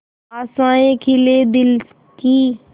आशाएं खिले दिल की